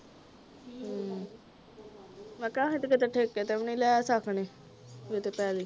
ਹੂ ਮੈਂ ਕਿਹਾ ਅਸੀਂ ਤੇ ਕਿੱਥੇ ਵੀ ਠੇਕੇ ਤੇ ਨਹੀਂ ਲੈ ਸਕਦੇ ਇਹ ਤੇ ਪੈਲ਼ੀ